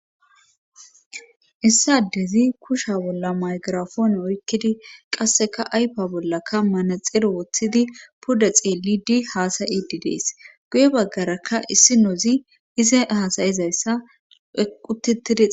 issi adezi kusha bolla maygirafoone oykkidi qasseka aypa bollakka manaxero woththidi puda xeelidi haasayidi dees guye baggarakka issinoozi ise hasayizayssa quttitides